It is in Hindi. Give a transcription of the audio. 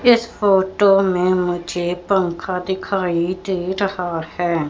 इस फोटो में मुझे पंखा दिखाई दे रहा है।